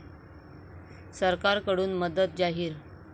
सरकारकडून मदत जाहीर